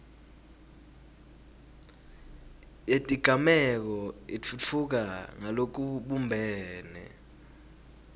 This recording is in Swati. yetigameko itfutfuka ngalokubumbene